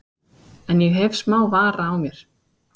En ég hef smá vara á mér.